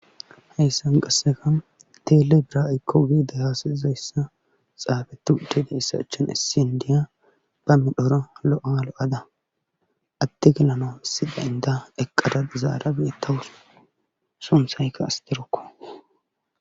heyssan qasseka teele bira7ykko wiida yaasaizayssa xaabetu utideissa achin issi indiya ba midhora lo7alo7ada atte gelanoissi daynda eqqada zaara biittawus sumsaykka astirokko